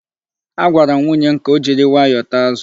Agwara m nwunye m ka o jiri nwayọọ taa azụ.